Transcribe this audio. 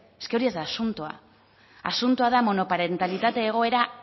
ez hori ez da asuntoa asuntoa da monoparentalitate egoera